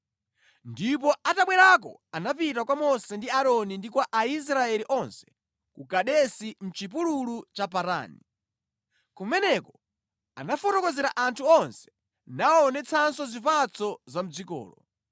Ndipo atabwerako anapita kwa Mose ndi Aaroni ndi kwa Aisraeli onse ku Kadesi mʼchipululu cha Parani. Kumeneko anafotokozera anthu onse nawaonetsanso zipatso za mʼdzikolo.